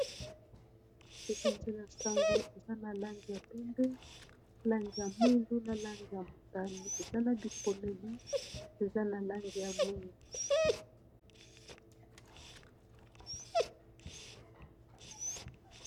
Epanzeli sango , eza na Langi ya pembe , langi ya mwindu ,langi ya motani ,langi ya mosaka.